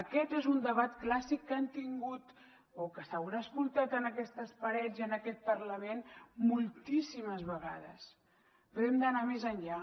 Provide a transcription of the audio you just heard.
aquest és un debat clàssic que han tingut o que s’haurà escoltat en aquestes parets i en aquest parlament moltíssimes vegades però hem d’anar més enllà